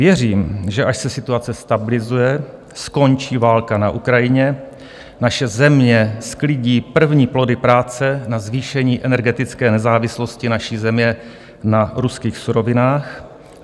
Věřím, že až se situace stabilizuje, skončí válka na Ukrajině, naše země sklidí první plody práce na zvýšení energetické nezávislosti naší země na ruských surovinách;